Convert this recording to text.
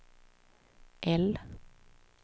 L